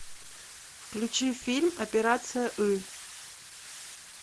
включи фильм операция ы